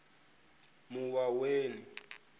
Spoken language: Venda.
muwaweni